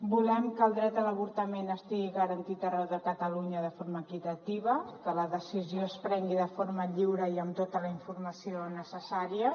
volem que el dret a l’avortament estigui garantit arreu de catalunya de forma equitativa que la decisió es prengui de forma lliure i amb tota la informació necessària